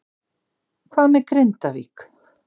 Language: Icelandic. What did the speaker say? Hvað með Grindavík?